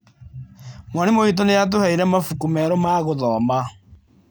Mwarimũ witũ nĩ aatũheire mabuku merũ ma gũthoma.